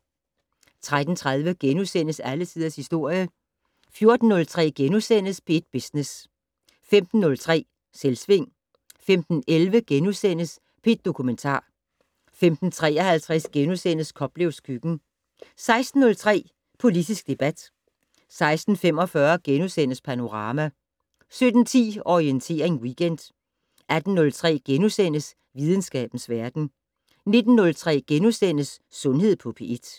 13:30: Alle tiders historie * 14:03: P1 Business * 15:03: Selvsving 15:11: P1 Dokumentar * 15:53: Koplevs køkken * 16:03: Politisk debat 16:45: Panorama * 17:10: Orientering Weekend 18:03: Videnskabens verden * 19:03: Sundhed på P1 *